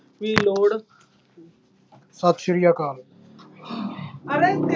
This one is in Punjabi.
ਵੀ ਲੋੜ ਸਤਿ ਸ੍ਰੀ ਅਕਾਲ